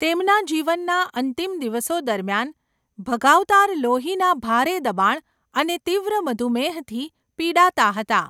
તેમના જીવનના અંતિમ દિવસો દરમિયાન, ભગાવતાર લોહીના ભારે દબાણ અને તીવ્ર મધુમેહથી પીડાતા હતા.